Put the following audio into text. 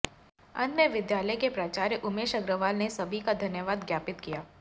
अंत में विद्यालय के प्राचार्य उमेश अग्रवाल ने सभी का धन्यवाद ज्ञापित किया